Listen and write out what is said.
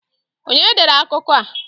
Onye dere akụkọ a?